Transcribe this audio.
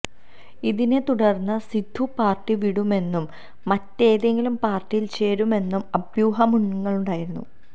ഇതിനെ തുടര്ന്ന് സിദ്ദു പാര്ട്ടി വിടുമെന്നും മറ്റേതെങ്കിലും പാര്ട്ടിയില് ചേരുമെന്നും അഭ്യൂഹങ്ങളുണ്ടായിരുന്നു